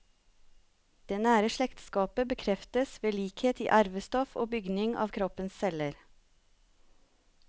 Det nære slektskapet bekreftes ved likhet i arvestoff og bygning av kroppens celler.